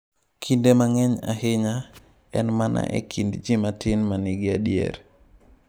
Kinde mang’eny ahinya, en mana e kind ji matin ma nigi adier.